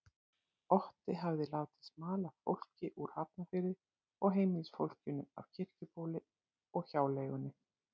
Otti hafði látið smala fólki úr Hafnarfirði og heimilisfólkinu af Kirkjubóli og hjáleigunni.